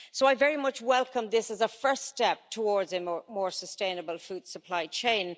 So I very much welcome this as a first step towards a more sustainable food supply chain.